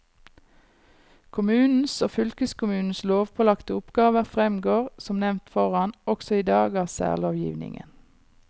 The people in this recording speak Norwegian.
Kommunens og fylkeskommunens lovpålagte oppgaver fremgår, som nevnt foran, også i dag av særlovgivningen.